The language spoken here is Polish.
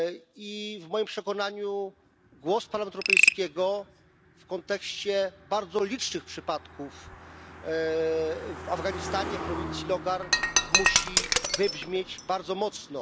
I w moim przekonaniu głos Parlamentu Europejskiego w kontekście bardzo licznych przypadków w Afganistanie w prowincji Logar musi wybrzmieć bardzo mocno.